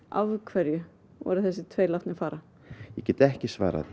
af hverju voru þessir tveir látnir fara ég get ekki svarað